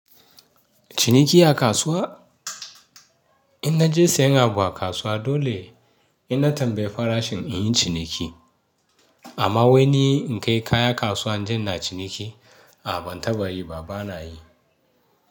Ciniki a kasuwa? In naje sayan abu a kasuwa dole ina tambayar farashin in yi ciniki. Amma wai ni in kai kaya kasuwa inje ina na ciniki a ban taɓa yi ba bana yi.